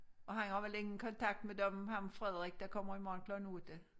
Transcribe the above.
Og han har vel ingen kontakt med dem ham Frederik der kommer i morgen klokken 8